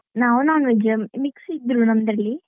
ನಾವ್ non-veg mix ಇದ್ದರೂ ನಮ್ದ್ರಲ್ಲಿ.